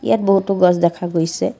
ইয়াত বহুতো গছ দেখা গৈছে।